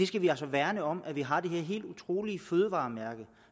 skal altså værne om at vi har det her helt utrolige fødevaremærke